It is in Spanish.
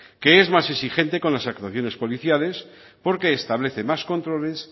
que es más exigente con las actuaciones policiales porque establece más controles